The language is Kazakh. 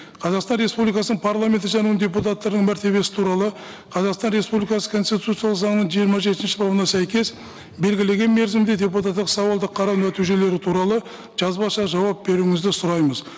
қазақстан республикасының парламенті және оның депутаттарының мәртебесі туралы қазақстан республикасы конституциялық заңының жиырма жетінші бабына сәйкес белгілеген мерзімде депутаттық сауалды қарау нәтижелері туралы жазбаша жауап беруіңізді сұраймыз